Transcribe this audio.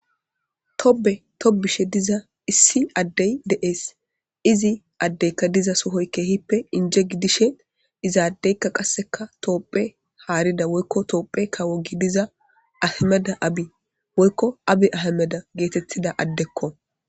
Tobe tobishe diza issi addey de'ees izi addeykka diza sohoy keehippe inje gidishe izaadeykka qasseka toopphe haarida woykko toophe kawo gidiza ahameda abi woykko abi ahameda geetettida addekko.